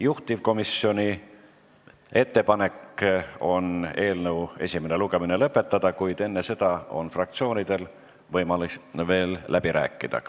Juhtivkomisjoni ettepanek on eelnõu esimene lugemine lõpetada, kuid enne seda on fraktsioonidel võimalik veel läbi rääkida.